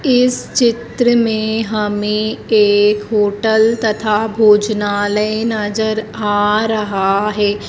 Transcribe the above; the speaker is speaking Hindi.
इस चित्र मे हमे एक होटल तथा भोजनालय नजर आ रहा है।